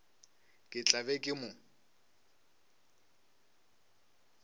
ke tla be ke mo